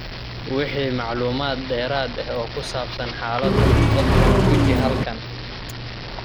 Wixii macluumaad dheeraad ah oo ku saabsan xaaladdan, fadlan guji halkan.